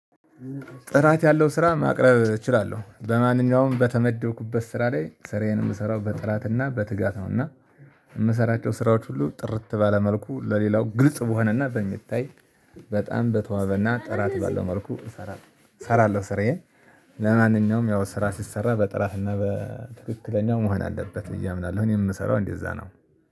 ጥራት ያለው ስራ ማቅረብ እችላለሁ በማንኛውም በተመደብኩበት ስራ ላይ ስራዬን የምሰራው በጥራትና በትጋት ነውና። የምሰራቸው ስራዎች ሁሉ ጥርት ባለ መልኩ ለሌላው ግልጽ በሆነና በሚታይ በጣም በተዋበና ጥራት ባለው መልኩ እሰራለሁ እሰራለሁ ስራዬን። ለማንኛውም ያው ስራ ሲሰራ በጥራትና በትክክለኛው መሆን አለበት ብዬ አምናለሁ እኔ የምሰራው እንደዛ ነው